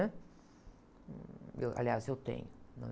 né? Eu, aliás, eu tenho.